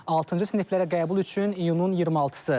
Altıncı siniflərə qəbul üçün iyunun 26-sı.